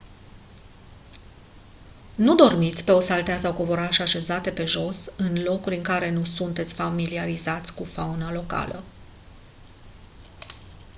nu dormiți pe o saltea sau covoraș așezate pe jos în locuri în care nu sunteți familiarizați cu fauna locală